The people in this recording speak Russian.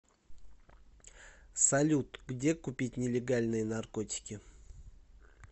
салют где купить нелегальные наркотики